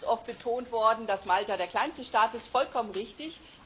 Es ist ganz oft betont worden, dass Malta der kleinste Staat ist vollkommen richtig.